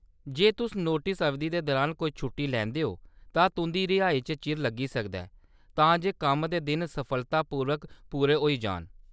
जे तुस नोटस अवधि दे दरान कोई छुट्टी लेेैंदे ओ, तां तुंʼदी रिहाई च चिर लग्गी सकदा ऐ, तां जे कम्म दे दिन सफलतापूर्वक पूरे होई जान।